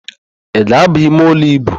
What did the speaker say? Ị ga-ábà imeụlọ íbù?